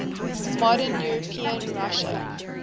modern european russia